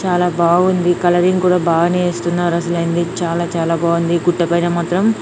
చాలా బాగుంది కలరింగ్ కూడా బాగానే చేస్తున్నారా అసలు ఎంది చాలా చాలా బాగుంది గుట్టపైన మాత్రం